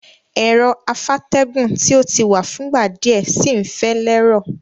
Ero afátẹ́gùn ti o ti wa fúngbà díẹ̀ si n fẹ́ lẹ́rọ̀